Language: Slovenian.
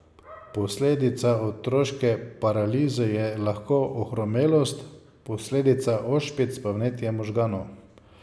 Posledica otroške paralize je lahko ohromelost, posledica ošpic pa vnetje možganov.